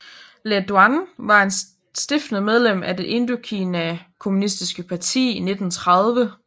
Lê Duẩn var en af stiftende medlem af Det Indokina Kommunistiske Parti i 1930